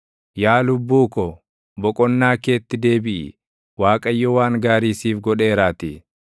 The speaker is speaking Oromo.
Yaa lubbuu ko, boqonnaa keetti deebiʼi; Waaqayyo waan gaarii siif godheeraatii.